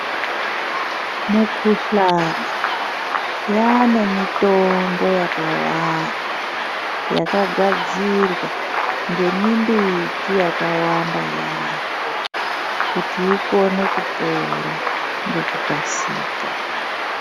Mukuhlana yaanemitombo yakawanda yakagadzirwa ngemimbiti yakawanda yaambo kuti ikone kupora ngekukasika.